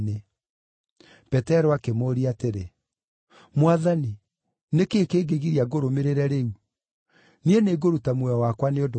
Petero akĩmũũria atĩrĩ, “Mwathani nĩ kĩĩ kĩngĩgiria ngũrũmĩrĩre rĩu? Niĩ nĩngũruta muoyo wakwa nĩ ũndũ waku.”